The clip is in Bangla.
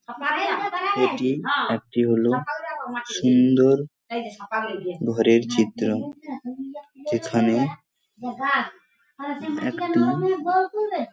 এটি একটি হলো সুন্দর ঘরের চিত্র এখানে একটি --